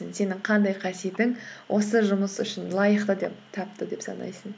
сенің қандай қасиетің осы жұмыс үшін лайықты деп тапты деп санайсың